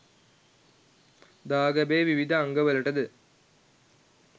දාගැබේ විවිධ අංගවලටද